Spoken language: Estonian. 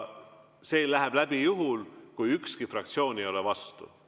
See läheb läbi juhul, kui ükski fraktsioon ei ole vastu.